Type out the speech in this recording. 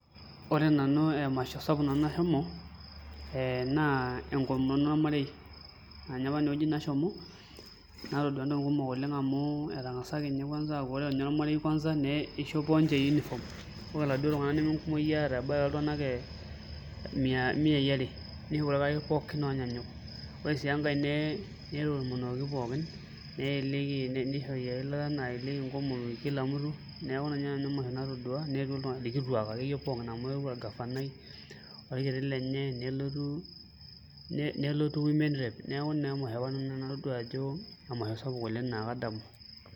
Ore nanu emasho sapuk nanu nashomo eh naa enkomono ormarei anye apa ewueji nashomo natodua intokiting kumok oleng amu etang'asaki ninye kwanza aaku ore inye ormarei kwanza nei neishopo ninche uniform ore iladuo tung'anak neme nkumoki eeta ebaya oltung'anak e h miai are nishopo orkarasha pookin onyanyuk ore sii enkae nee netomonokoki pookin neyelieki nishori eilata nayelieki nkomomi kila mutu neeku ina inye nanu emasho natodua neetuo iltu irkituak akeyie pookin amu eewuo orgafanai orkiti lenye nelotu nelotu women rep niaku naa emasho apa natodua nanu ajo emasho sapuk oleng naa kadamu.